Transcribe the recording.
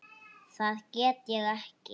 Það get ég ekki